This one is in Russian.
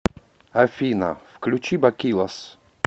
афина включи бакилос